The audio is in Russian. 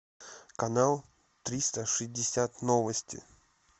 канал триста шестьдесят новости